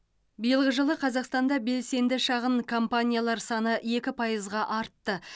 биылғы жылы қазақстанда белсенді шағын компаниялар саны екі пайызға артты